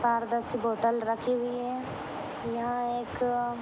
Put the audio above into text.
पाँच दस बोतल रखी हुई हैयहाँ एक--